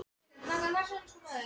Hvar á landinu eru Neistarnir tveir?